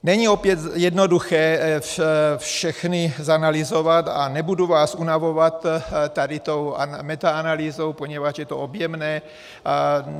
Není opět jednoduché všechny zanalyzovat a nebudu vás unavovat tady tou metaanalýzou, poněvadž je to objemné.